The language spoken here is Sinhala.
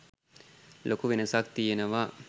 ලොකු වෙනසක් තියෙනවා?